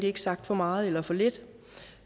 ikke sagt for meget eller for lidt